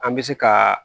An bɛ se ka